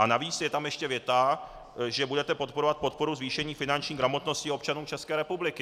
A navíc je tam ještě věta, že budete podporovat podporu zvýšení finanční gramotnosti občanů České republiky.